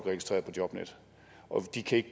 til at